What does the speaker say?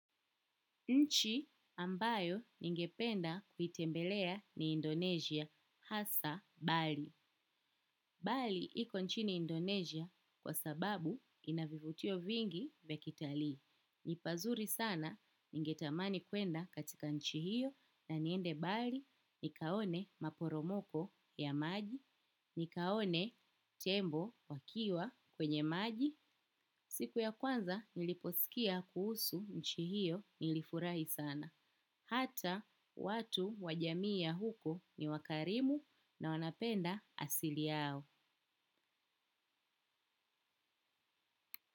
Nchi ambayo ningependa kuitembelea ni Indonesia hasa. Bali. Bali iko nchini Indonesia kwa sababu inavivutio vingi vya kitalii. Ni pazuri sana, ningetamani kwenda katika nchi hiyo na niende bali nikaone maporomoko ya maji, nikaone tembo wakiwa kwenye maji. Siku ya kwanza niliposikia kuhusu nchi hiyo nilifurahi sana. Hata watu wajamii ya huko ni wakarimu na wanapenda asili yao.